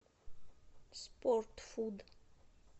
спортфуд